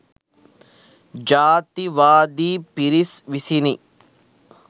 ජාතිවාදි පිරිස් විසිනි